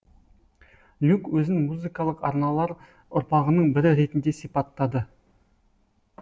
люк өзін музыкалық арналар ұрпағының бірі ретінде сипаттады